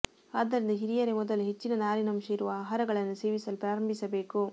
ಆದ್ದರಿಂದ ಹಿರಿಯರೇ ಮೊದಲು ಹೆಚ್ಚಿನ ನಾರಿನಂಶ ಇರುವ ಆಹಾರಗಳನ್ನು ಸೇವಿಸಲು ಪ್ರಾರಂಭಿಸಬೇಕು